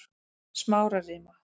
Smárarima